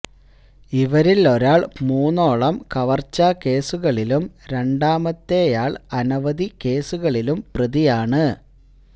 ഇവരില് ഒരാള് മൂന്നോളം കവര്ച്ചാ കേസുകളിലും രണ്ടാമത്തെയാള് അനവധി കേസുകളിലും പ്രതിയാണ്